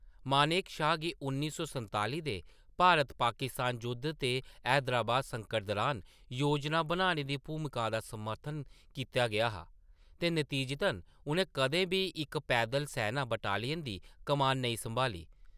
मानेक शॉ गी उन्नी सै संताली दे भारत-पाकिस्तान जुद्ध ते हैदराबाद संकट दुरान योजना बनाने दी भूमिका दा समर्थन कीता गेआ हा, ते नतीजतन, उʼनें कदें बी इक पैदल सैना बटालियन दी कमान नेईं संभाली।